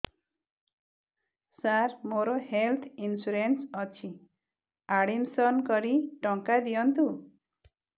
ସାର ମୋର health insurance ଅଛି admission କରି ଟଙ୍କା ଦିଅନ୍ତୁ